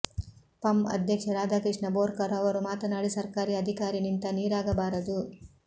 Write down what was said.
ಪಂ ಅಧ್ಯಕ್ಷ ರಾಧಾಕೃಷ್ಣ ಬೋರ್ಕರ್ ಅವರು ಮಾತನಾಡಿ ಸರ್ಕಾರಿ ಅಧಿಕಾರಿ ನಿಂತ ನೀರಾಗಬಾರದು